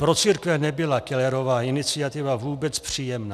Pro církve nebyla Kellerova iniciativa vůbec příjemná.